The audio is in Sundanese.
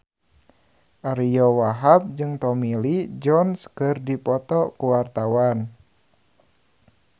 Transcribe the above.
Ariyo Wahab jeung Tommy Lee Jones keur dipoto ku wartawan